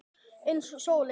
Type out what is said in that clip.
Eins og sólin.